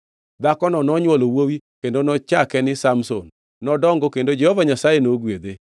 Dhakono nonywolo wuowi kendo nochake ni Samson. Nodongo kendo Jehova Nyasaye nogwedhe,